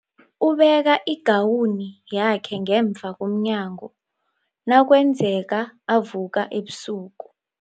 Ubeka igawuni yakhe ngemva komnyango nakwenzeka avuka ebusuku.